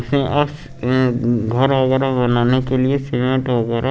घर वगैरा बनाने के लिए सीमेंट वगैरा--